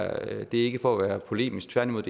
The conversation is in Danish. er ikke for at være polemisk tværtimod